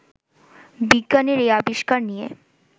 বিজ্ঞানের এই আবিষ্কার নিয়ে